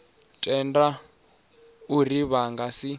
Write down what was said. tenda uri vha nga si